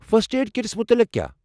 First aid kits مُتعلق کیٛاہ ؟